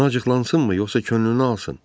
Ona acıqlansınmı, yoxsa könlünü alsın?